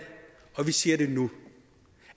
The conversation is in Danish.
og vi siger det nu